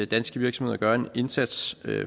danske virksomheder gør en indsats